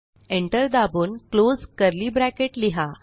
enter दाबून close curly bracket लिहा